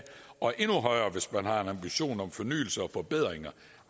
og endnu højere hvis man har en ambition om fornyelse og forbedringer